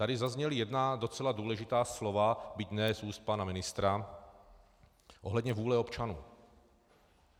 Tady zazněla jedna docela důležitá slova, byť ne z úst pana ministra, ohledně vůle občanů.